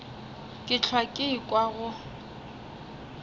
ke hlwa ke ekwa go